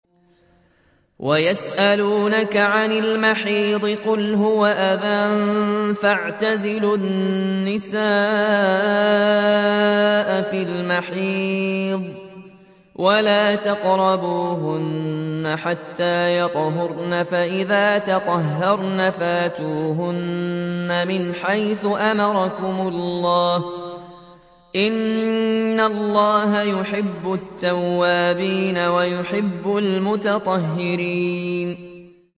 وَيَسْأَلُونَكَ عَنِ الْمَحِيضِ ۖ قُلْ هُوَ أَذًى فَاعْتَزِلُوا النِّسَاءَ فِي الْمَحِيضِ ۖ وَلَا تَقْرَبُوهُنَّ حَتَّىٰ يَطْهُرْنَ ۖ فَإِذَا تَطَهَّرْنَ فَأْتُوهُنَّ مِنْ حَيْثُ أَمَرَكُمُ اللَّهُ ۚ إِنَّ اللَّهَ يُحِبُّ التَّوَّابِينَ وَيُحِبُّ الْمُتَطَهِّرِينَ